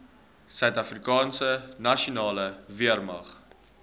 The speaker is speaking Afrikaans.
suidafrikaanse nasionale weermag